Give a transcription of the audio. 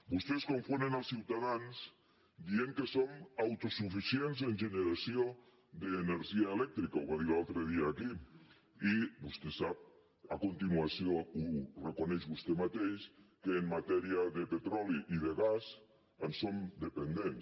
vostès confonen els ciutadans dient que som autosuficients en generació d’energia elèctrica ho va dir l’altre dia aquí i vostè sap a continuació ho reconeix vostè mateix que en matèria de petroli i de gas en som dependents